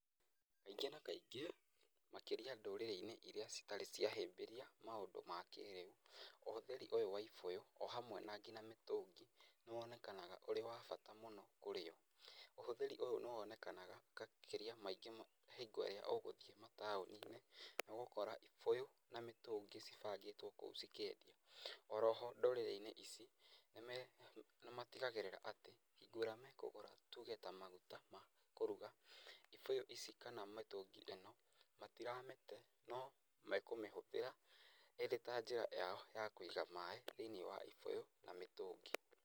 Kaingĩ na kaingĩ makĩria ndũrĩrĩ-inĩ irĩa citarĩ cia hĩmbĩria maũndũ ma kĩrĩu, ũhũthĩri ũyũ wa ibũyũ o hamwe na nginya mĩtũngi nĩ wonekanaga ũrĩ wa bata mũno kũrĩ o. Ũhũthĩri ũyũ nĩ wonekanaga makĩria maingĩ hingo ĩrĩa ũgũthiĩ mataũni-inĩ, nĩ ũgũkora ibũyũ na mĩtũngi cibangĩtwo kũu cikĩendia. O ro ho ndũrĩrĩ ici nĩ matigagĩrĩra atĩ hingo ĩrĩa mekũgũra tuge ta maguta ma kũruga, ibũyũ ici kana mĩtũngi ĩno matiramĩte, no mekũmĩhũthĩra ĩrĩ ta njĩra yao ya kũiga maĩ thĩiniĩ wa ibũyũ na mĩtũngi.